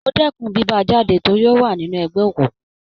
Mo dẹkùn bí bá a jáde torí ó wà nínú ẹgbẹ́ òkùnkùn.